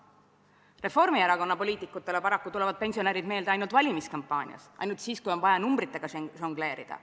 Reformierakonna poliitikutele tulevad pensionärid meelde paraku ainult valimiskampaanias, ainult siis, kui on vaja numbritega žongleerida.